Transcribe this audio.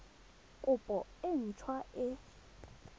kopo e nt hwa e